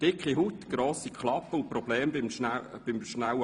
Dicke Haut, grosse Klappe und bei Problemen schnelles Abtauchen.